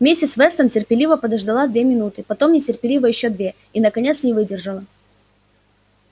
миссис вестон терпеливо подождала две минуты потом нетерпеливо ещё две и наконец не выдержала